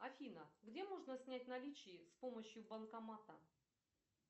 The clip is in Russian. афина где можно снять наличные с помощью банкомата